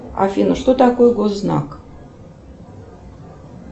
афина что такое госзнак